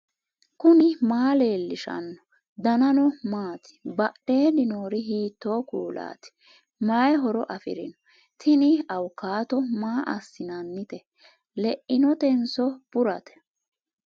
knuni maa leellishanno ? danano maati ? badheenni noori hiitto kuulaati ? mayi horo afirino ? tini awukaato maa assinannite leinotenso burate